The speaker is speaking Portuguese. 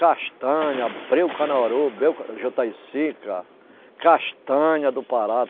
Castanha, breu canuaru, breu jutaicica, castanha do Pará.